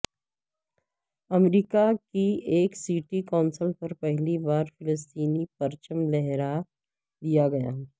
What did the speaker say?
امریکا کی ایک city council پر پہلی بار فلسطینی پرچم لہرا دیا گیا